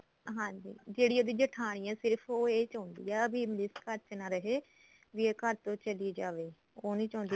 ਹਾਂਜੀ ਜਿਹੜੀ ਉਹਦੀ ਜੇਠਾਣੀ ਐ ਸਿਰਫ ਉਹ ਇਹ ਚਾਉਂਦੀ ਆ ਵੀ ਇਸ ਘਰ ਚ ਨਾ ਰਹੇ ਵੀ ਇਹ ਘਰ ਤੋਂ ਚਲੀ ਜਾਵੇ ਉਹ ਨੀ ਚਾਉਂਦੀ